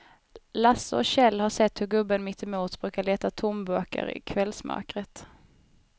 Lasse och Kjell har sett hur gubben mittemot brukar leta tomburkar i kvällsmörkret.